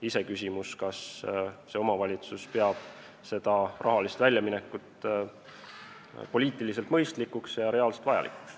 Iseküsimus on, kas omavalitsus peab sellist rahalist väljaminekut poliitiliselt mõistlikuks ja tegelikult ka vajalikuks.